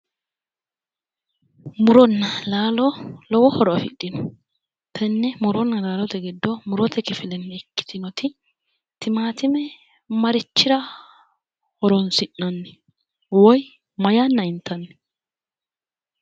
Muronna laalo lowo horo afidhino tenne muronna laaote giddo murote kifile ikkitinoti timaatine marichira horonsi'nanni woyi na yanna intanni?